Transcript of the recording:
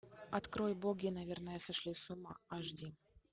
открой боги наверное сошли с ума аш ди